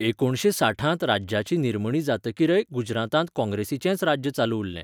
एकुणशे साठांत राज्याची निर्मणी जातकीरय गुजरातांत काँग्रेसीचेंच राज्य चालू उरलें.